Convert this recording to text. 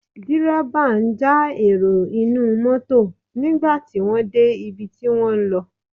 Dẹ́rẹ́bà ń já èrò inú mọ́tọ̀ nígbà tí wọ́n de ibi tí wọn ń lọ.